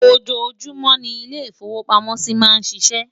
ọjọ júmò ní ilè ifowo pàmò sí má n ṣíṣe